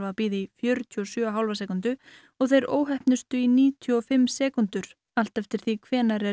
bíða í fjörutíu og sjö og hálfa sekúndu og þeir óheppnustu í níutíu og fimm sekúndur allt eftir því hvenær er